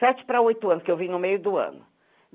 Sete para oito anos, que eu vim no meio do ano.